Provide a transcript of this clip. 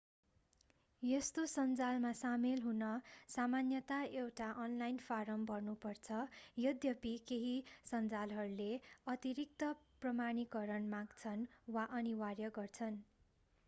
यस्तो सञ्जालमा सामेल हुन सामान्यता एउटा अनलाइन फाराम भर्नु पर्छ यद्यपि केही सञ्जालहरूले अतिरिक्त प्रमाणीकरण माग्छन् वा अनिवार्य गर्छन्